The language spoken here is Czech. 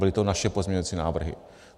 Byly to naše pozměňovací návrhy.